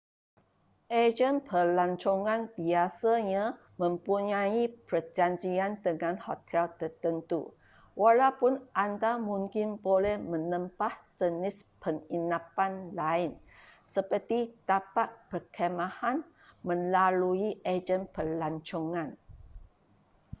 ejen pelancongan biasanya mempunyai perjanjian dengan hotel tertentu walaupun anda mungkin boleh menempah jenis penginapan lain seperti tapak perkhemahan melalui ejen pelancongan